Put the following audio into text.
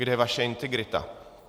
Kde je vaše integrita?